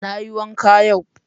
Na yi wanka yau.